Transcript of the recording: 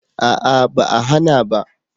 A'a ba a hana ba